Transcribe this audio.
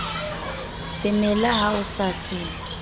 semela ha o sa se